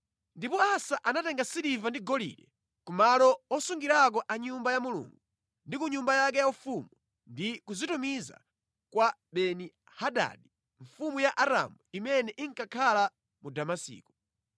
Ndipo Asa anatenga siliva ndi golide ku malo osungirako a mʼNyumba ya Mulungu ndi ku nyumba yake yaufumu ndi kuzitumiza kwa Beni-Hadadi mfumu ya Aramu imene inkakhala mu Damasiko.